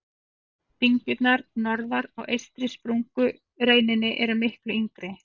Dyngjurnar norðar á eystri sprungureininni eru miklu yngri.